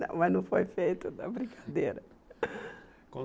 Mas não foi feito, não é brincadeira. Com